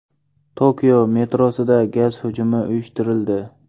Tokio metrosida gaz hujumi uyushtirildi.